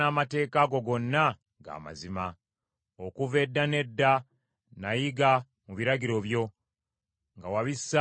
Okuva edda n’edda nayiga mu biragiro byo, nga wabissaawo bibeerewo emirembe gyonna.